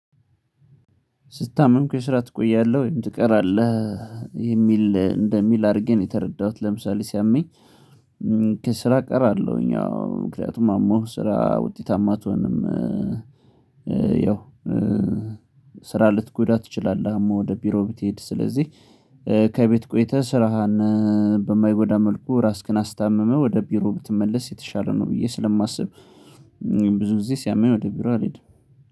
ስታምም እኮ የሰራ ትቆያለሁ ወይም ትቀራለህ? የሚል እንደሚል አድርጌ ነው የተረዳሁት ለምሳሌ ሲያመኝ። ከስራ ቀራለሁኝ አዎ ምክንያቱም አሞህ ስራ ውጤታማ ትሆንም። ያው ስራ ልትጎዳ ትችላለህ አሞህ ወደ ቢሮ ብትሄድ ስለዚህ። ከቤት ቆይተህ ስራህን በማይጎዳ መልኩ ራስህን አስታምመህ ወደ ቢሮ ብትመለስ የተሻለ ነው ብዬ ስለማስብ። ብዙ ጊዜ ሲያመኝ ወደ ቢሮ አልሄድም።